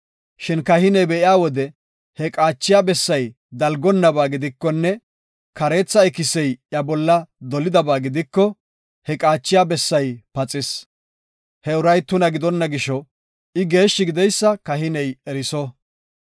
Shin kahiney be7iya wode he qaachiya bessay dalgonnaba gidikonne kareetha ikisey iya bolla dolidaba gidiko, he qaachiya bessay paxis. He uray tuna gidonna gisho, I geeshshi gideysa kahiney eriso.